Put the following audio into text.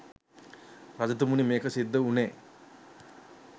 රජතුමනි මේක සිද්ධ වුණේ